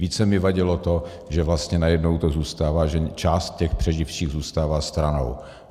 Více mi vadilo to, že vlastně najednou to zůstává, že část těch přeživších zůstává stranou.